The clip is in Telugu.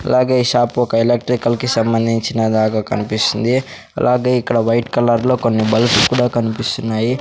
అలాగే ఈ షాపు ఒక ఎలక్ట్రికల్ కి సంబంధించిన లాగ కనిపిస్తుంది అలాగే ఇక్కడ వైట్ కలర్ లో కొన్ని బల్బ్స్ కూడా కనిపిస్తున్నాయి.